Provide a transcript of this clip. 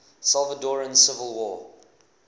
salvadoran civil war